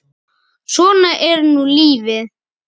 Svona er nú lífið.